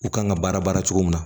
U kan ka baara baara cogo min na